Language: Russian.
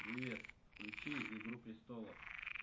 привет включи игру престолов